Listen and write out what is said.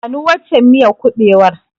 Bani waccen miyar kuɓewar.